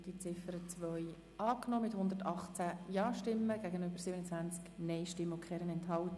Sie haben die Ziffer 2 mit 118 Ja- gegenüber 27 Nein-Stimmen und keiner Enthaltung angenommen.